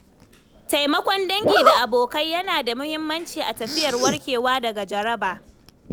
Taimakon dangi da abokai yana da muhimmanci a tafiyar warkewa daga jaraba.